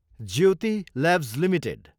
Jyoti labs Ltd